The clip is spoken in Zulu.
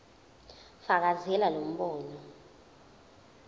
fakazela lo mbono